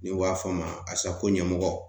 N'u b'a fɔ a ma ASACO ɲɛmɔgɔ